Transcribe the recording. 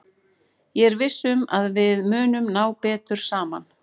Ég er viss um að við munum ná betur saman.